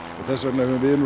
þess vegna höfum við